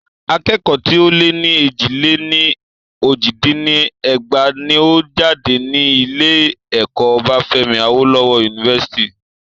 Akẹ́kọ̀ọ́ tí o lẹ́ ní éjì-lé-ní-ojì dín ní ẹgbàá ní ó jáde ní ilé ẹ̀kọ́ Obafemi Awolowo University.